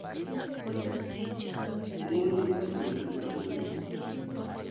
Omondi osin gi Amondi